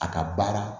A ka baara